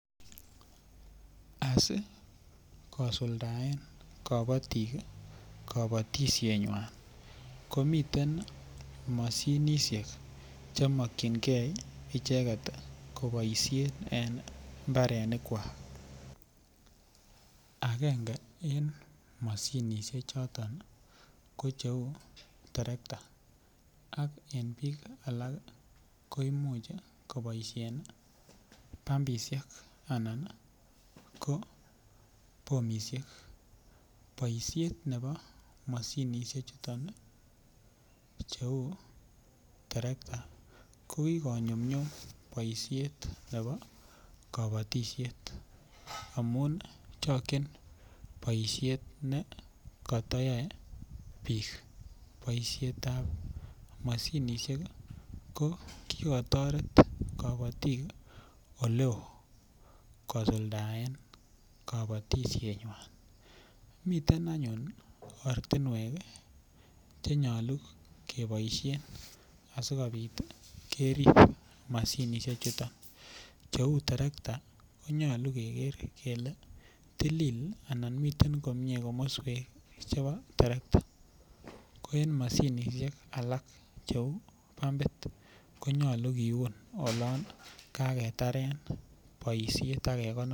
Asi kosuldae kobotik kobotishet ng'wan komiten mashinishek che makchinkee icheket koboisie en mbarenik kwa akenge eng mashinishek choton ko cheu terekta ak en biik alak koimuch koboisien pumbishek anan ko bombishek boishet nebo mashinishek chuton cheu terekta ko kiko nyumnyum boishet nebo kobotishet amun chokchin boishet ne katayae biik boishet ap mashinishek ko kikotoret kobotik oleo kosuldaen kobotishet nywan miten anyun oratinwek chenyalu keboishe asikobit kerip mashinishek chuto cheuu tarakta konyolu keker kele tilil anan miten komie komoswek chebo tarakta ko en mashinishek alak cheu pumbit konyolu kiun olon kaketare boishet akekonor.